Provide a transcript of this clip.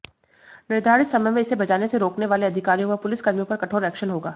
निर्धारित समय में इसे बजाने से रोकने वाले अधिकारियों व पुलिसकर्मियों पर कठोर एक्शन होगा